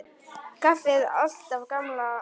Kaffið alltaf á gamla mátann.